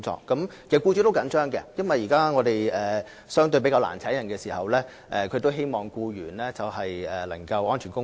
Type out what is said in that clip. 其實，僱主也相當着緊，因為現時相對較難聘請人手，僱主都希望僱員能夠安全工作。